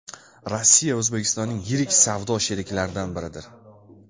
Rossiya O‘zbekistonning yirik savdo sheriklaridan biridir.